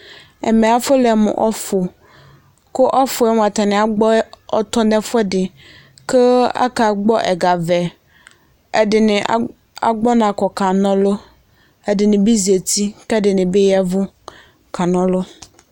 Ɛmɛ afɔlɛ mʋ ɔfʋ, kʋ ɔfʋ yɛ mʋa, atanɩ agbɔ ɔtɔ nʋ ɛfʋɛdɩ, kʋ akagbɔ ɛga vɛ, ɛdɩnɩ agbɔ ɔna kɔ kana ɔlʋ, ɛdɩnɩ bɩ zati, kʋ ɛdɩnɩ bɩ ya ɛvʋ kana ɔlʋ